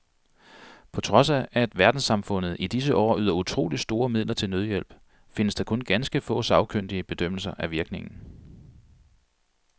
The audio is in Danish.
På trods af at verdenssamfundet i disse år yder utroligt store midler til nødhjælp, findes der kun ganske få sagkyndige bedømmelser af virkningen.